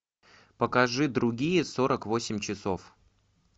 покажи другие сорок восемь часов